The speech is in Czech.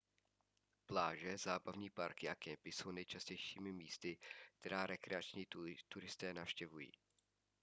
pláže zábavní parky a kempy jsou nejčastějšími místy která rekreační turisté navštěvují